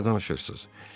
Nə danışırsız?